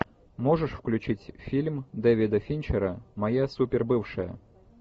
можешь включить фильм дэвида финчера моя супер бывшая